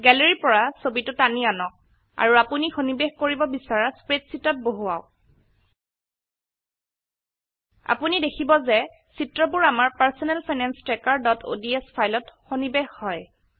Galleryৰ পৰা ছবিটো টানি আনক আৰু আপোনি সন্নিবেষ কৰিব বিছৰা স্প্ৰেডশীটত বহুৱাওক আপুনি দেখিব যে চিত্ৰবোৰ আমাৰ personal finance trackerঅডছ ফাইলত সন্নিবেষ হয়